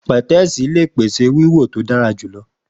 Pẹtẹẹsì le pese wiwo ti o dara julọ.